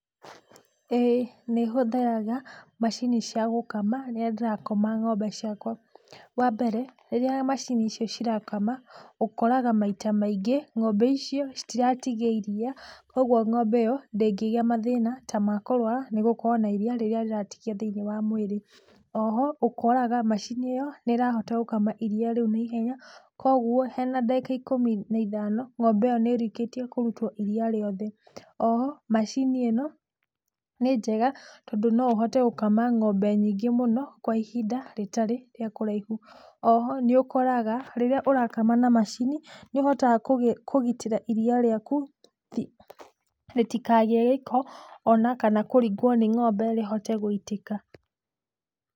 ĩĩ nĩhũthĩraga macini cia gũkama rĩrĩa ndĩrakama ng'ombe ciakwa. Wa mbere rĩrĩa macini icio cirakama ũkoraga maita maingĩ ng'ombe citiratigia iria, koguo ng'ombe ĩyo ndĩngĩgia na mathĩna ta ma kũrwara nĩ gũkorwo na iria rĩrĩa rĩratigio thĩiniĩ wa mwĩrĩ, o ho ũkoraga macini ĩyo nĩĩrahota gũkama ng'ombe ĩyo na ihenya, koguo hena ndagĩka ikũmi na ithano ng'ombe ĩyo nĩĩrĩkĩtie kũrutwo iria rĩu rĩothe, o ho macini ĩno nĩ njega, tondũ no ũhote gũkama ng'ombe nyingĩ mũno kwa ihinda rĩtarĩ rĩa kũraihu. O ho nĩũkoraga rĩrĩa ũrakama na macini nĩũhotaga kũgitĩra iria rĩaku rĩtikagĩe gĩko, ona kana kũringwo nĩ ng'ombe rĩhote gũitĩka.